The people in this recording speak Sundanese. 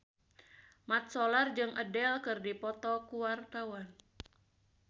Mat Solar jeung Adele keur dipoto ku wartawan